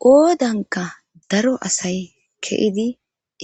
Qoodanka daro asay keidi